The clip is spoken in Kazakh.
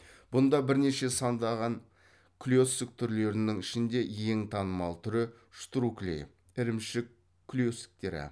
бұнда бірнеше сандаған клецк түрлерінің ішінде ең танымал түрі штрукли ірімшік клецктері